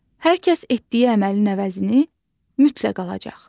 Hər kəs etdiyi əməlin əvəzini mütləq alacaq.